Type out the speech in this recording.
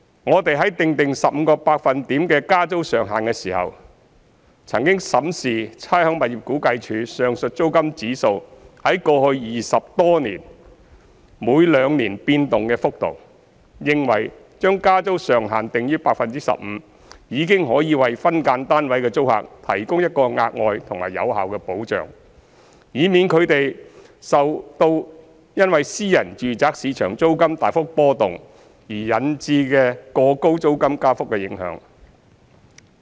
我們在訂定 15% 的加租上限時，曾審視差餉物業估價署上述租金指數在過去20多年間每兩年變動的幅度，認為將加租上限訂於 15% 已經可以為分間單位的租客提供一個額外及有效的保障，以免他們受因私人住宅市場租金大幅波動而引致的過高租金加幅的影響。